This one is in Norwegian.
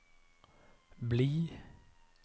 bli